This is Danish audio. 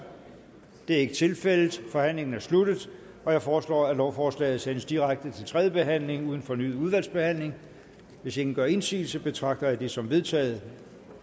det er ikke tilfældet forhandlingen er sluttet jeg foreslår at lovforslaget sendes direkte til tredje behandling uden fornyet udvalgsbehandling hvis ingen gør indsigelse betragter jeg det som vedtaget